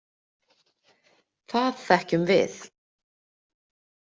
Það þekkjum við.